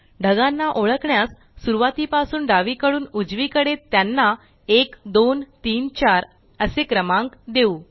ढगांना ओळखण्यास सुरवातीपासून डावीकडून उजवीकडे त्यांना 1 2 3 4 असे क्रमांक देऊ